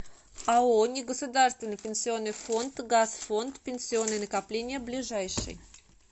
ао негосударственный пенсионный фонд газфонд пенсионные накопления ближайший